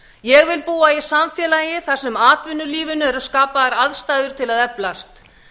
ég vil búa í samfélagi þar sem atvinnulífinu eru skapaðar aðstæður til að eflast